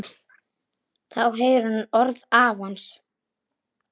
Þá heyrir hún orð afans.